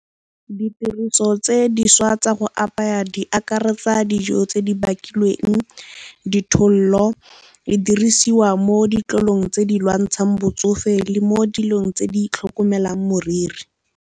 Ditiriso tse dišwa tsa go apaya di akaretsa dijo tse di bakilweng, ditholo, e dirisiwa mo ditlolong tse di lwantshang botsofe le mo dilong tse di tlhokomelang moriri.